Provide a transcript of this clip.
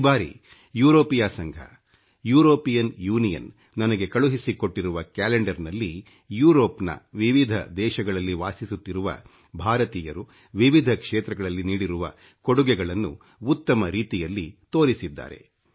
ಈ ಬಾರಿ ಯುರೋಪಿಯಾ ಸಂಘ ಯುರೋಪಿಯನ್ ಯೂನಿಯನ್ ನನಗೆ ಕಳುಹಿಸಿಕೊಟ್ಟಿರುವ ಕ್ಯಾಲೆಂಡರ್ ನಲ್ಲಿ ಯುರೋಪ್ ನ ವಿಭಿನ್ನ ದೇಶಗಳಲ್ಲಿ ವಾಸಿಸುತ್ತಿರುವ ಭಾರತೀಯರು ವಿವಿಧ ಕ್ಷೇತ್ರಗಳಲ್ಲಿ ನೀಡಿರುವ ಕೊಡುಗೆಗಳನ್ನು ಉತ್ತಮ ರೀತಿಯಲ್ಲಿ ತೋರಿಸಿದ್ದಾರೆ